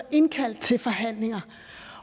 indkaldt til forhandlinger